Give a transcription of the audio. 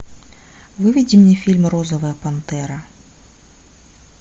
выведи мне фильм розовая пантера